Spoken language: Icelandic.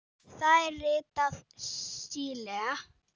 Það er ritað Síle.